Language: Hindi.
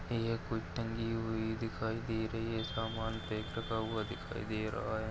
यह कोई टंगी हुई दिखाई दे रही है समान पे टंगा हुआ दिखाई दे रहा है।